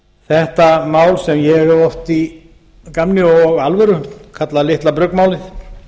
þetta mál sem ég hef oft í gamni og alvöru kallað litla bruggmálið